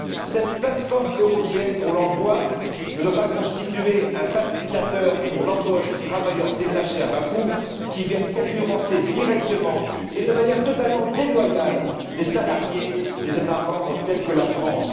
Cette plateforme européenne pour l'emploi ne doit pas constituer un facilitateur pour l'embauche de travailleurs détachés à bas coût, qui viennent concurrencer directement et de manière totalement déloyale les salariés des États membres tels que la France.